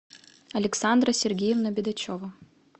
александра сергеевна бедачева